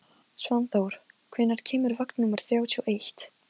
Allir voru í sínu besta skarti.